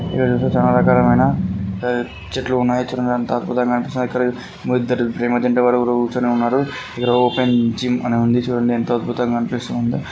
చెట్లు ఉన్నాయి. చూడ్డానికి ఎంతో అద్భుతంగా కనిపిస్తుంది. ఇద్దరూ ప్రేమ జంట ఎవరో కూర్చుని ఉన్నారు. ఇక్కడ ఓపెన్ జిమ్ అని ఉంది చూడండి. ఎంతో అద్భుతంగా కనిపిస్తుందో.